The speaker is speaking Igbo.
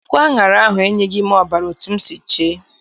Akụ aṅara ahụ enyeghị m ọbara etu m si chee.